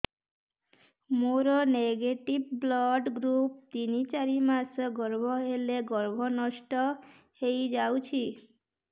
ମୋର negative blood group ତିନ ଚାରି ମାସ ଗର୍ଭ ହେଲେ ଗର୍ଭ ନଷ୍ଟ ହେଇଯାଉଛି